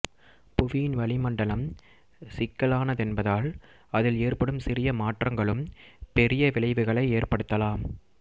புவியின் வளிமண்டலம் சிக்கலானதென்பதால் அதில் ஏற்படும் சிறிய மாற்றங்களும் பெரிய விளைவுகளை ஏற்படுத்தலாம்